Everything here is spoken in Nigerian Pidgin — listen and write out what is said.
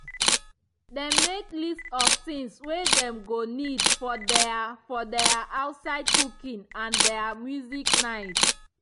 dem make list of things wey dem go need for their for their outside cooking and their music night.